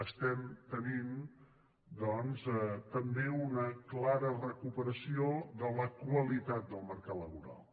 estem tenint doncs també una clara recuperació de la qualitat del mercat laboral